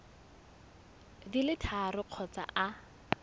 di le tharo kgotsa a